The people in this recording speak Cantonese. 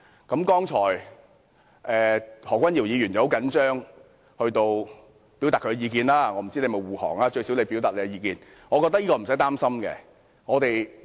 剛才何君堯議員很緊張，表達了他的意見，我不知道他是不是護航，但最少他表達了自己的意見。